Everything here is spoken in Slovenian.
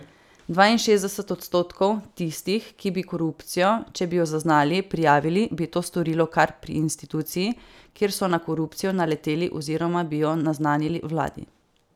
Dvainšestdeset odstotkov tistih, ki bi korupcijo, če bi jo zaznali, prijavili, bi to storilo kar pri instituciji, kjer so na korupcijo naleteli, oziroma bi jo naznanili vladi.